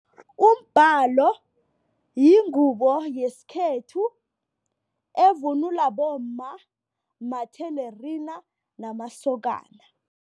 Umbhalo yingubo yesikhethu evunulwa bomma, mathelerina, namasokana.